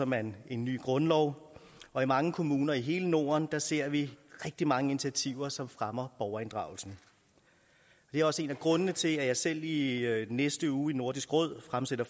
man en ny grundlov og i mange kommuner i hele norden ser vi rigtig mange initiativer som fremmer borgerinddragelsen det er også en af grundene til at jeg selv i næste uge i nordisk råd fremsætter